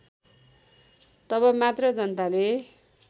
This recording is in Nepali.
तब मात्र जनताले